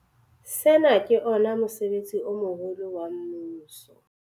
Sena ke ona mosebetsi o moholo wa mmuso.